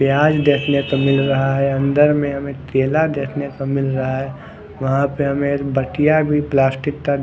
पियाज़ दखने को मिल रहा है अंदर मे हमे केला देखने को मिल रहा है वहां पर हमे भटिया प्लास्टिक का--